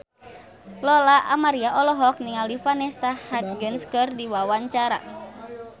Lola Amaria olohok ningali Vanessa Hudgens keur diwawancara